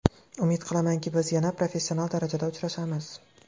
Umid qilamanki, biz yana professional darajada uchrashamiz.